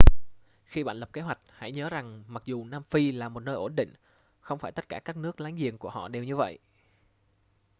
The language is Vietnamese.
khi bạn lập kế hoạch hãy nhớ rằng mặc dù nam phi là một nơi ổn định không phải tất cả các nước láng giềng của họ đều như vậy